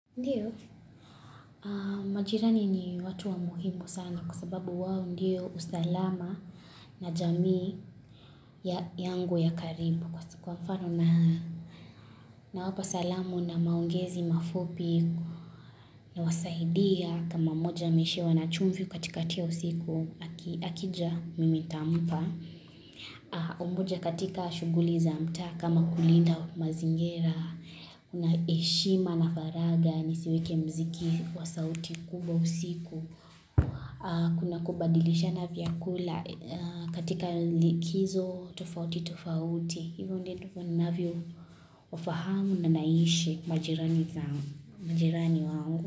Ndio, majirani ni watu wa muhimu sana kwa sababu wao ndio usalama na jamii ya yangu ya karibu kwa sikuwa mfano nina na wapa salamu na maongezi mafupi na wasaidia kama moja ameishiwa na chumvi katikati ya usiku aki akija mimi tampa umoja katika shuguli za mtaa kama kulinda mazingira, unaeshima na faraga, nisiweke mziki wa sauti kubwa usiku. Kuna kubadilishana vyakula katika likizo tofauti tofauti, hivyo ndio nitakua ninavyo wafahamu na naishi majirani zangu majirani wangu.